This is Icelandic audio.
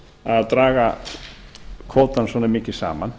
að draga kvótann svona mikið saman